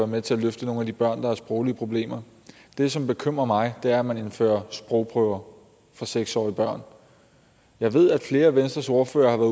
med til at løfte nogle af de børn der har sproglige problemer det som bekymrer mig er at man indfører sprogprøver for seks årige børn jeg ved at flere af venstres ordførere har